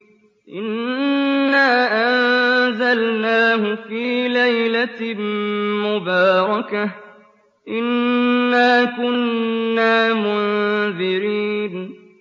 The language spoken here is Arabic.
إِنَّا أَنزَلْنَاهُ فِي لَيْلَةٍ مُّبَارَكَةٍ ۚ إِنَّا كُنَّا مُنذِرِينَ